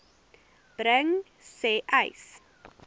bring sê uys